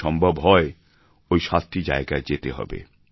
যদি সম্ভব হয় ওই সাতটি জায়গায় যেতে হবে